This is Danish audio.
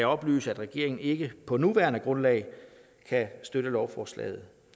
oplyse at regeringen ikke på nuværende grundlag kan støtte lovforslaget